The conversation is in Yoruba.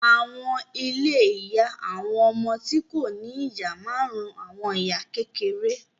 Àwọn ilé ìyá àwọn ọmọ tí kò ní ìyá máa ń ran àwọn ìyá kékeré